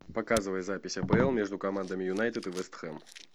показывай запись апл между командами юнайтед и вест хэм